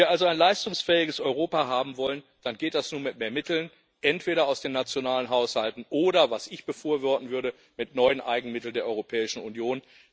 Wenn wir also ein leistungsfähiges Europa haben wollen, dann geht das nur mit mehr Mitteln, entweder aus den nationalen Haushalten oder was ich befürworten würde mit neuen Eigenmitteln der Europäischen Union.